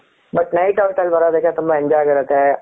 but night out ಅಲ್ಲಿ ಬರೋದಕ್ಕೆ ತುಂಬಾ enjoy ಆಗಿರುತ್ತೆ